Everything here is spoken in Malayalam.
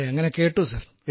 അങ്ങനെ കേട്ടു സർ